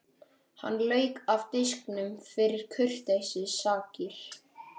Hann lauk af disknum fyrir kurteisissakir.